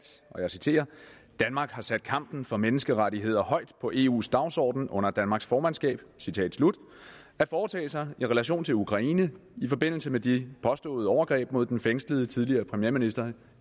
danmark har sat kampen for menneskerettigheder højt på eus dagsorden under danmarks formandskab at foretage sig i relation til ukraine i forbindelse med de påståede overgreb mod den fængslede tidligere premierminister